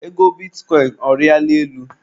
Ego bitikọịn, ọ riala elu?